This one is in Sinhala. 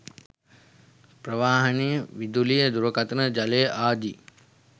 ප්‍රවාහන, විදුලිය, දුරකථන, ජලය ආදී